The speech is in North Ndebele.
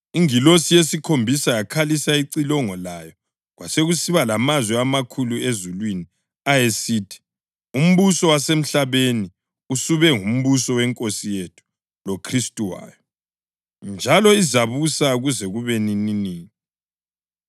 Ingilosi yesikhombisa yakhalisa icilongo layo kwasekusiba lamazwi amakhulu ezulwini, ayesithi: “Umbuso wasemhlabeni usube ngumbuso weNkosi yethu loKhristu wayo, njalo izabusa kuze kube nininini.”